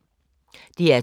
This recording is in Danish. DR2